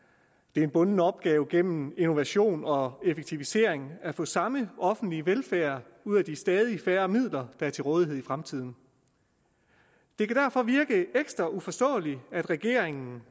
det er en bunden opgave gennem innovation og effektivisering at få samme offentlige velfærd ud af de stadig færre midler der er til rådighed i fremtiden det kan derfor virke ekstra uforståeligt at regeringen